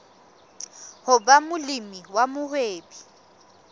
ho ba molemi wa mohwebi